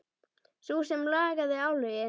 Sú sem lagði álögin?